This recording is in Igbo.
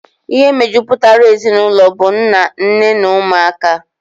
Ihe mejupụtara ezinụlọ bu nna, nne na ụmụaka.